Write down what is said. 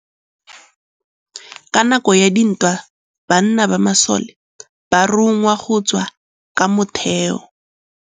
Ka nakô ya dintwa banna ba masole ba rongwa go tswa kwa mothêô.